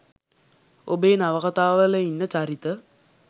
ඔබේ නවකතා වල ඉන්න චරිත